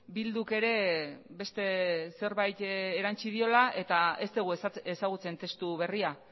bilduk ere beste zerbait erantsi diola eta ez dugu ezagutzen testu berria